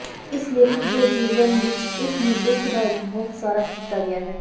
ਇਸ ਲੇਖਕ ਦੇ ਜੀਵਨ ਵਿਚ ਇਸ ਨੂੰ ਦੁੱਖ ਦਾ ਇੱਕ ਬਹੁਤ ਸਾਰਾ ਕੀਤਾ ਗਿਆ ਹੈ